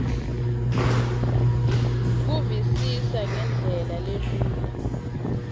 kuvisisa ngendlela lelula